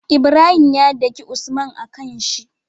Ibrahim ya daki usman a kanshi